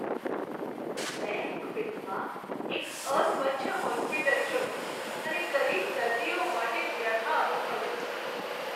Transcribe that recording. મેં એક ફિલ્મમાં એક અસ્વચ્છ હોસ્પિટલ જોઈ અને ગરીબ દર્દીઓ માટે વ્યથા અનુભવી.